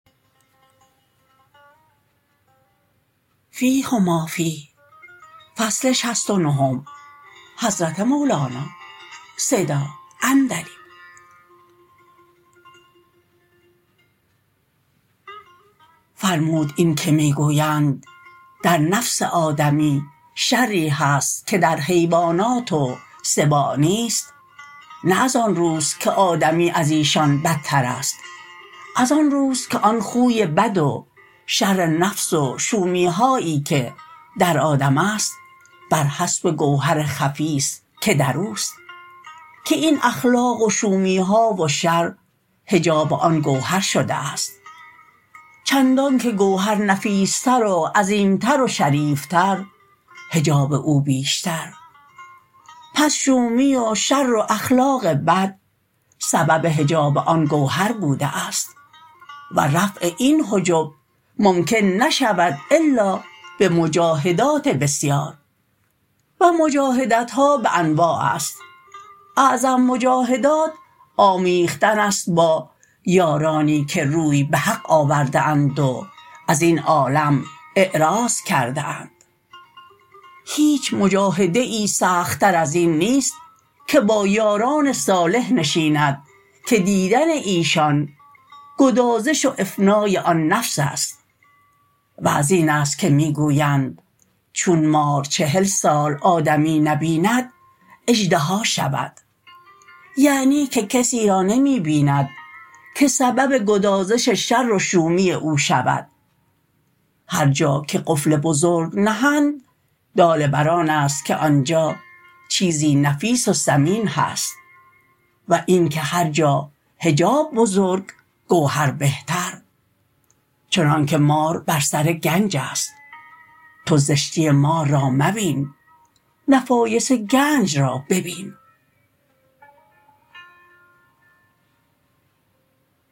فرمود این که می گویند در نفس آدمی شری هست که در حیوانات و سباع نیست نه از آن روست که آدمی ازیشان بدترست از آن روست که آن خوی بد و شر نفس و شومی هایی که در آدم است برحسب گوهر خفی است که دروست که این اخلاق و شومی ها و شر حجاب آن گوهر شده است چندانکه گوهر نفیس تر و عظیم تر و شریف تر حجاب او بیشتر پس شومی و شر و اخلاق بد سبب حجاب آن گوهر بوده است و رفع این حجب ممکن نشود الا به مجاهدات بسیار و مجاهدت ها به انواع است اعظم مجاهدات آمیختن است با یارانی که روی به حق آورده اند و ازین عالم اعراض کرده اند هیچ مجاهده ای سخت تر ازین نیست که با یاران صالح نشیند که دیدن ایشان گدازش و افنای آن نفس است و ازین است که می گویند چون مار چهل سال آدمی نبیند اژدها شود یعنی که کسی را نمی بیند که سبب گدازش شر و شومی او شود هر جا که قفل بزرگ نهند دال بر آن است که آنجا چیزی نفیس و ثمین هست و اینکه هر جا حجاب بزرگ گوهر بهتر چنانک مار بر سر گنج است تو زشتی مار را مبین نفایس گنج را ببین